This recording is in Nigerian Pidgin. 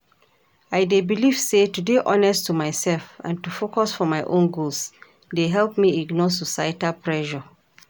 I dey believe say to dey honest to myself and to focus for my own goals dey help me ignore societal pressure.